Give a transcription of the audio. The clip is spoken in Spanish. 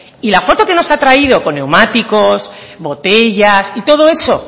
y la foto que nos ha traído con neumáticos botellas y todo eso